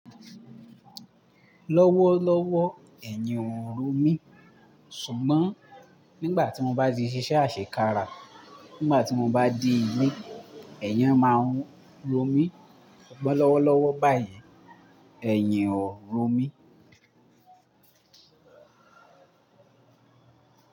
Lọ́wọ́lọ́wọ́, ẹ̀yin ò ro mí, ṣùgbọ́n nígbà tí mo bá ti ṣíṣe àṣe kára, nígbà tí mo bá de ile, ẹ̀yin máa ń ro mí. Ọ̀pọ̀ lọ́wọ́lọ́wọ́ báyìí, ẹ̀yin ò ń ro mí.